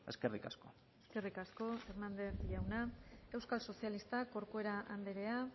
eskerrik asko eskerrik asko hernández jauna euskal sozialistak corcuera andrea